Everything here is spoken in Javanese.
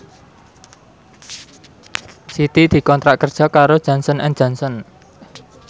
Siti dikontrak kerja karo Johnson and Johnson